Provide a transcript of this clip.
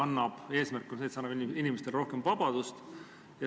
Üks eesmärk on, et see annab inimestele rohkem vabadust.